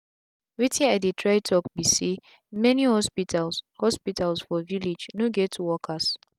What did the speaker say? wetin i dey try talk bi say many hospitals hospitals for village no get workers